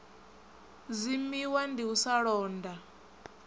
dzimiwa vndi u sa londa